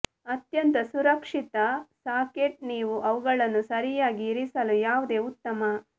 ಅತ್ಯಂತ ಸುರಕ್ಷಿತ ಸಾಕೆಟ್ ನೀವು ಅವುಗಳನ್ನು ಸರಿಯಾಗಿ ಇರಿಸಲು ಯಾವುದೇ ಉತ್ತಮ